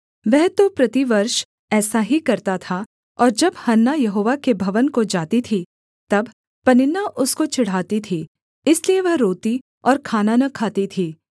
वह तो प्रतिवर्ष ऐसा ही करता था और जब हन्ना यहोवा के भवन को जाती थी तब पनिन्ना उसको चिढ़ाती थी इसलिए वह रोती और खाना न खाती थी